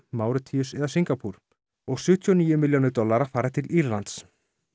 Máritíus eða Singapúr og sjötíu og níu milljónir dollara fara til Írlands